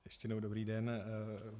Ještě jednou dobrý den.